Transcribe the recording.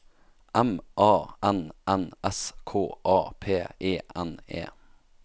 M A N N S K A P E N E